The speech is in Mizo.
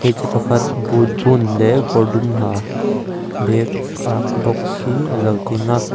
hmeichhia pakhat boot bun leh kawr dum ha bag a ak bawk hi alo ding a.